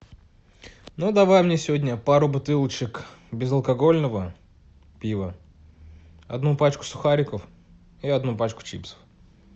ну давай мне сегодня пару бутылочек безалкогольного пива одну пачку сухариков и одну пачку чипсов